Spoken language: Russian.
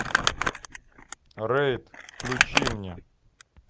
рейд включи мне